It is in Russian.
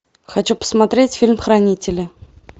хочу посмотреть фильм хранители